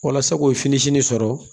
Walasa k'o fini sɔrɔ